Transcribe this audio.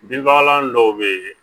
Binfagalan dɔw bɛ yen